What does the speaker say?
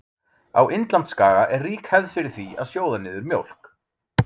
á indlandsskaga er rík hefð er fyrir því að sjóða niður mjólk